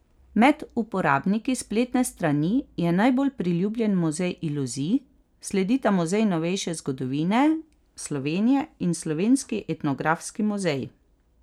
Med uporabniki spletne strani je najbolj priljubljen Muzej iluzij, sledita Muzej novejše zgodovine Slovenije in Slovenski etnografski muzej.